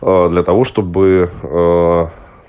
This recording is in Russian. для того чтобы